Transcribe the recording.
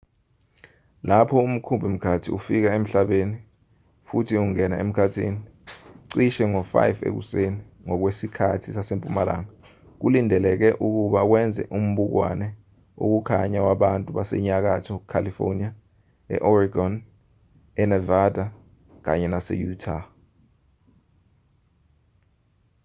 lapho umkhumbi-mkhathi ufika emhlabeni futhi ungena emkhathini cishe ngo-5 ekuseni ngokwesikhathi sasempumalanga kulindeleke ukuba wenze umbukwane wokukhanya wabantu basenyakatho california e-oregon enavada kanye nase-utah